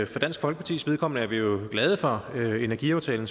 for dansk folkepartis vedkommende er vi jo glade for energiaftalen